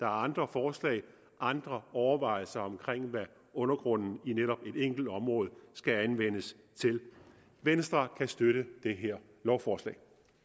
andre forslag og andre overvejelser om hvad undergrunden i netop et enkelt område skal anvendes til venstre kan støtte det her lovforslag